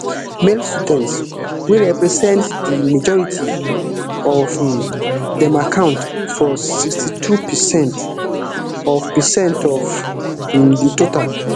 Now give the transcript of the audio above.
male students wey represent di majority of um dem account for sixty-two percent of percent of um di total